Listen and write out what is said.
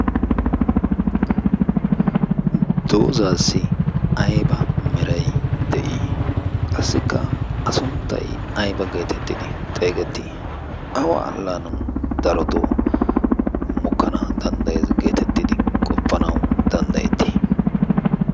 doozaassi aiba meray de'ii? qassikka a sunttay ayba geetettidi xeegettii? awa allaanan darotoo mukkana danddaye geetettidi qoppanau danddayettii?